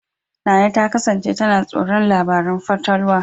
Nana ta kasance tana tsoron labarun fatalwa.